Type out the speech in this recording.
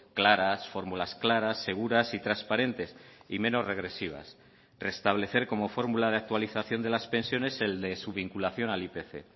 claras fórmulas claras seguras y transparentes y menos regresivas restablecer como fórmula de actualización de las pensiones el de su vinculación al ipc